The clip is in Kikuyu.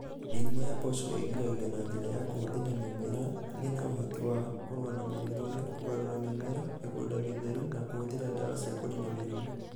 Mĩrimũ ya mboco ĩgiragio na njĩra ya kũhũthĩnda mĩmera ĩna ũhoti wa kũrũa na mĩrimũ ĩyo, kũgarũra mĩmera, mĩgũnda mĩtheru na kũhũthĩra ndawa cia kũniina mĩrimũ.